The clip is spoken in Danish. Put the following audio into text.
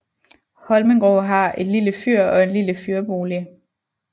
Holmengrå har et lille fyr og en lille fyrbolig